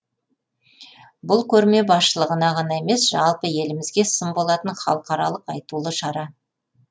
бұл көрме басшылығына ғана емес жалпы елімізге сын болатын халықаралық айтулы шара